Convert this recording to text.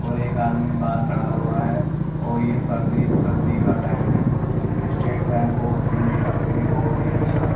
और एक आदमी बाहर खड़ा हुआ है और ये सर्दी सर्दी का टाइम है स्टेट बैंक ऑफ़ इंडिया ये बहुत ही अच्छा--